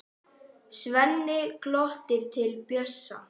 Svenni glottir til Bjössa.